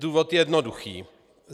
Důvod je jednoduchý.